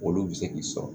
Olu bɛ se k'i sɔrɔ